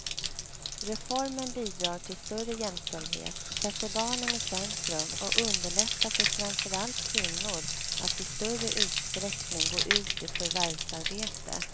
Reformen bidrar till större jämställdhet, sätter barnen i centrum och underlättar för framför allt kvinnor att i större utsträckning gå ut i förvärvsarbete.